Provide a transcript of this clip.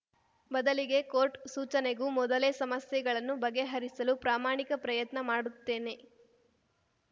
ಬದಲಿಗೆ ಕೋರ್ಟ್‌ ಸೂಚನೆಗೂ ಮೊದಲೇ ಸಮಸ್ಯೆಗಳನ್ನು ಬಗೆಹರಿಸಲು ಪ್ರಾಮಾಣಿಕ ಪ್ರಯತ್ನ ಮಾಡುತ್ತೇನೆ